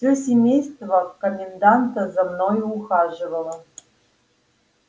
всё семейство коменданта за мною ухаживало